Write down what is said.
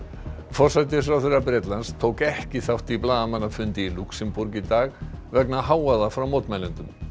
forsætisráðherra Bretlands tók ekki þátt í blaðamannafundi í Lúxemborg í dag vegna hávaða frá mótmælendum